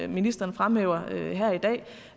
ministeren fremhæver her i dag